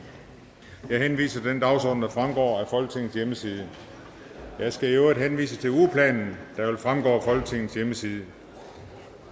jeg henviser til den dagsorden der fremgår af folketingets hjemmeside jeg skal i øvrigt henvise til ugeplanen der vil fremgå af folketingets hjemmeside